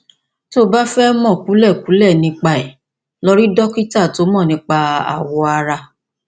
tó o bá fẹ mọ kúlẹkúlẹ nípa rẹ lọ rí dókítà tó mọ nípa awọ ara